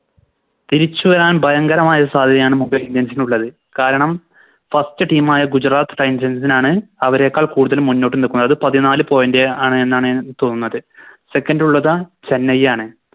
തിരിച്ച് വരാൻ ഭയങ്കരമായ സാധ്യതയാണ് Mumbai indians നുള്ളത് കാരണം First team ആയ Gujarat titans നാണ് അവരെക്കാൾ കൂടുതൽ മുന്നോട്ട് നിൽക്കുന്നത് പതിനാല് Point ആണ് എന്നാണ് തോന്നുന്നത് Second ഉള്ളത് ചെന്നൈ ആണ്